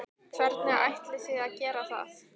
Hvernig ætlið þið að gera það?